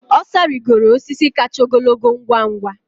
Osa rigoro osisi kacha ogologo ngwa ngwa.